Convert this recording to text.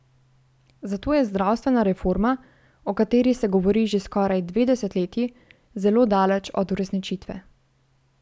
Zato je zdravstvena reforma, o kateri se govori že skoraj dve desetletji, zelo daleč od uresničitve.